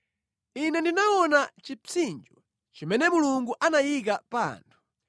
Ine ndinaona chipsinjo chimene Mulungu anayika pa anthu.